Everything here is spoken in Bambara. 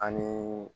Ani